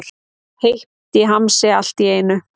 Heitt í hamsi allt í einu.